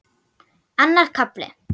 Annar kafli